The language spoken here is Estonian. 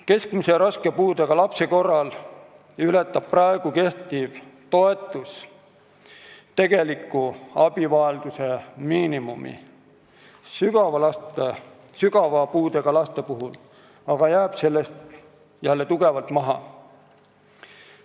Keskmise ja raske puudega lapse kehtiv toetus ületab praegu tegelikku abivajaduse miinimumi, sügava puudega laste oma aga jääb sellest jälle tugevalt maha.